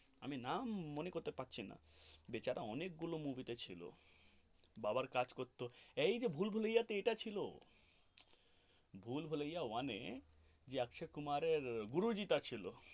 আমি নাম মনে করতে পারছিনা বেচারা অনেক গুলো movies তে ছিল বাবার কাজ করতো এই যে ভুলভুলাইয়া তে ছিল ভুলভুলিয়া one এর যে অক্ষয় কুমার এর গুরুজি যে ছিল.